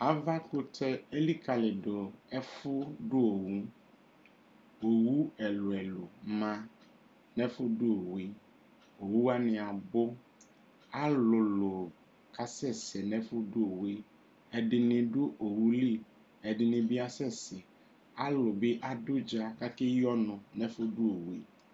Avakutɛ elikalidu ɛfʋ du owuowu ɛlu ɛlu ma nu ɛfʋdʋ owu yɛowu wani abʋalʋlʋ kasɛsɛ nʋ ɛfʋ dʋ owuyɛɛdini dʋ owu li ɛdini bi asɛsɛalu bi adʋ ʋdza kʋ akeyi ɔnu nʋ ɛfu dʋ owʋ yɛ